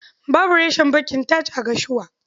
Babu reshen bankin TAJ a Gashua.